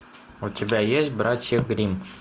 у тебя есть братья гримм